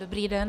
Dobrý den.